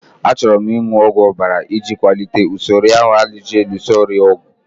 Achọrọ m ịṅụ ọgwụ ọbara iji kwalite usoro ahụ ji alụso ọrịa ọgụ